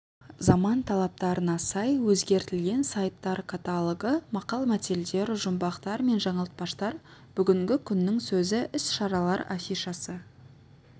заман талаптарына сай өзгертілген сайттар каталогы мақал-мәтелдер жұмбақтар мен жаңылтпаштар бүгінгі күннің сөзі іс-шаралар афишасы